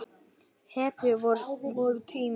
Hetju vorra tíma.